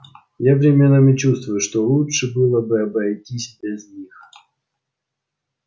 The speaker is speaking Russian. я временами чувствую что лучше было бы обойтись без них